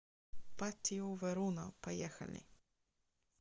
патио верона поехали